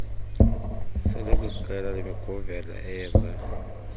selekwiqela lerniguvela eyenza